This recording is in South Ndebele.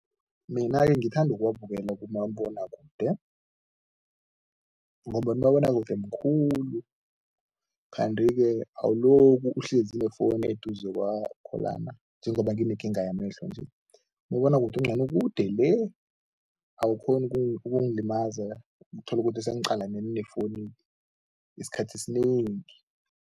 Mina-ke ngithanda ukuwabukela kumabonwakude ngombana umabonwakude mkhulu kanti-ke awulokhu uhlezi nefowunu eduze kwakho lana, njengoba nginekinga yamehlo nje. Umabonwakude ungcono, ukude le, awukghoni ukungilimaza uthola ukuthi sengiqalane nefowunu isikhathi esinengi.